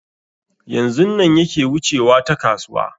Yanzun nan yake wucewa ta kasuwa